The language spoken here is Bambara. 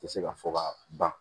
Tɛ se ka fɔ ka ban